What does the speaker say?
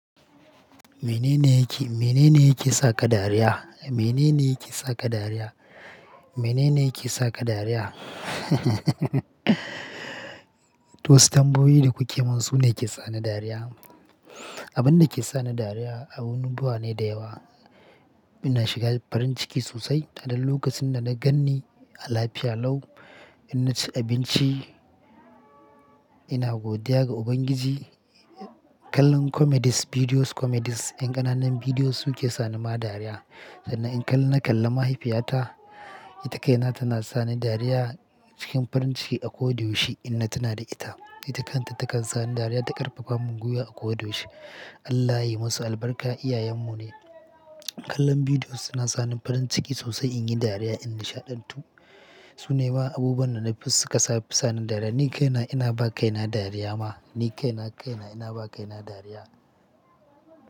Mene ne yake, mene ne yake sa ka dariya? Mene ne yake sa ka dariya? Mene ne yake sa ka dariya? To wassu tambayoyi da kuke mun sune ke sa ni dariya. Abin da ke sa ni dariya abunubuwa ne da yawa. Ina shiga farin ciki sosai a duk lokacin da na ganni A lafiya Lau in na ci abinci. Ina godiya ga Ubangiji. Kallon comedies bidiyos comedies ƴan ƙananan bidiyo suke sani ma dariya. Sannan in kall-- na kalla mahaifiyata, ita kai na tana sani dariya cikin farin ciki a ko da yaushe in na tuna da ita. Ita kanta takan sani dariya ta ƙarfafa mun guywa a kowa da yaushe. Allah ya yi masu albarka, iyayen mu ne. Kallon bidiyo suna sani farin ciki sosai in yi dariya in nishaɗantu. Su ne ma abubuwan da na fi suka saf-- sani dariya. Ni kaina ina ba kaina dariya ma. Ni kaina kaina ina ba kaina dariya.